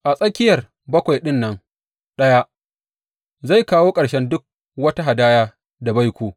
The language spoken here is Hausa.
A tsakiyar bakwai ɗin nan ɗaya zai kawo ƙarshen duk wata hadaya da baiko.